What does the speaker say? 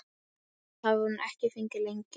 Það hafði hún ekki fengið lengi.